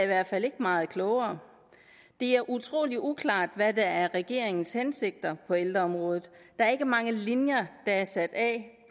hvert fald ikke meget klogere det er utrolig uklart hvad regeringens hensigter er på ældreområdet der er ikke mange linjer der er sat af